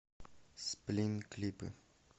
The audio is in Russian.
сплин клипы